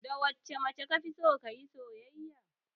Da wacce mace kafison kayi soyayya?